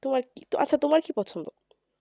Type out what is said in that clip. তোমার কি আচ্ছা তোমার কি পছন্দ